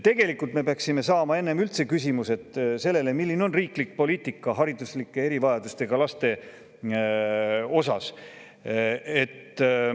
Tegelikult me peaksime enne saama sellele, milline üldse on riiklik poliitika hariduslike erivajadustega laste puhul.